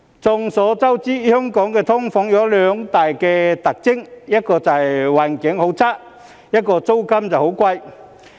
眾所周知，香港的"劏房"有兩大特徵：一是環境差，二是租金貴。